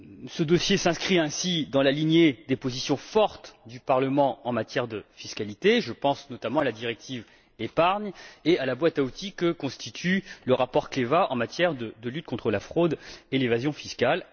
Ce dossier s'inscrit ainsi dans la lignée des positions fortes du Parlement en matière de fiscalité. Je pense notamment à la directive épargne et à la boîte à outils que constitue le rapport Kleva en matière de lutte contre la fraude et l'évasion fiscales.